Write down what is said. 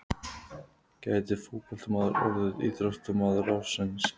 Gæti fótboltamaður orðið íþróttamaður ársins?